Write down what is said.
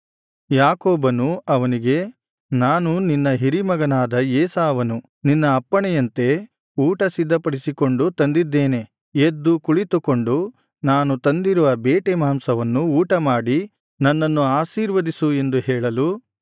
ಯಾಕೋಬನು ಅವನಿಗೆ ನಾನು ನಿನ್ನ ಹಿರೀಮಗನಾದ ಏಸಾವನು ನಿನ್ನ ಅಪ್ಪಣೆಯಂತೆ ಊಟ ಸಿದ್ಧಪಡಿಸಿಕೊಂಡು ತಂದಿದ್ದೇನೆ ಎದ್ದು ಕುಳಿತುಕೊಂಡು ನಾನು ತಂದಿರುವ ಬೇಟೆ ಮಾಂಸವನ್ನು ಊಟಮಾಡಿ ನನ್ನನ್ನು ಆಶೀರ್ವದಿಸು ಎಂದು ಹೇಳಲು